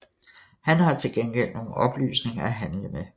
Han har til gengæld nogle oplysninger at handle med